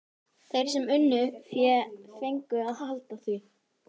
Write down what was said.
Þeir sem unnu fé fengu að halda því.